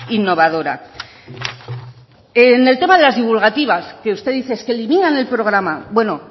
innovadora en el tema de las divulgativas que usted es que eliminan el programa bueno